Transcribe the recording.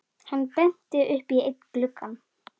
Hann benti upp í einn gluggann.